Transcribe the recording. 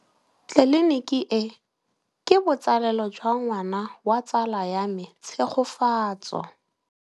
Tleliniki e, ke botsalêlô jwa ngwana wa tsala ya me Tshegofatso.